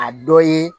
A dɔ ye